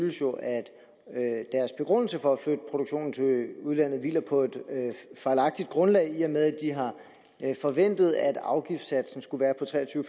jo er at deres begrundelse for at flytte produktionen til udlandet hviler på et fejlagtigt grundlag i og med de har forventet at afgiftssatsen skulle være på tre og tyve